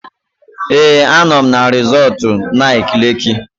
Ee, anọ m na resọtu Nike Leeki